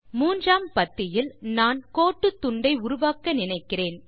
மூன்றாம் பத்தியில் நான் கோட்டு துண்டை உருவாக்க நினைக்கிறேன்